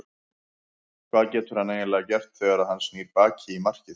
Hvað getur hann eiginlega gert þegar að hann snýr baki í markið?